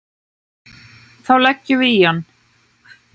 Þá leggjum við í hann.